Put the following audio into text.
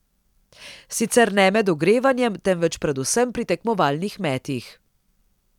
Sicer ne med ogrevanjem, temveč predvsem pri tekmovalnih metih.